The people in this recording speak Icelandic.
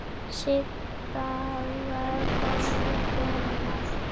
Sibba var góð kona.